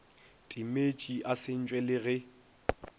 timetše a sentšwe le ge